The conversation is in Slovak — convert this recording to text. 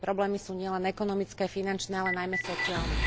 Tie problémy sú nielen ekonomické, finančné, ale najmä sociálne.